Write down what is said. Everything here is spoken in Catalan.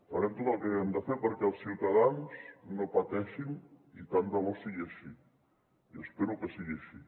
farem tot el que haguem de fer perquè els ciutadans no pateixin i tant de bo sigui així i espero que sigui així